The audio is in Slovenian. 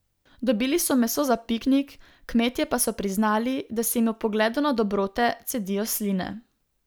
Dobili so meso za piknik, kmetje pa so priznali, da se jim ob pogledu na dobrote cedijo sline.